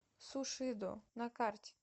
сушидо на карте